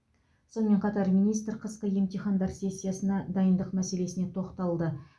сонымен қатар министр қысқы емтихандар сессиясына дайындық мәселесіне тоқталды